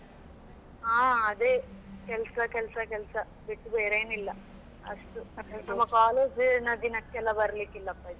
ಹಾ ಅದೇ ಕೆಲಸ ಕೆಲಸ ಕೆಲಸ ಬಿಟ್ಟು ಬೇರೇನಿಲ್ಲಾ. ಅಷ್ಟು ತುಂಬಾ ನಮ್ಮ college ನದಿನಕ್ಕೆಎಲ್ಲ ಬರಲಿಕ್ಕಿಲ್ಲಪ್ಪಾ ಇದು.